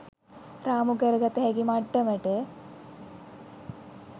රාමු කරගත හැකි මට්ටමට